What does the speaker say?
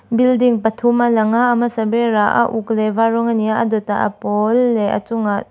building pathum a alang a a hmasa ber ah a uk leh a var rawng ani a a dawtah a pawl leh a chungah--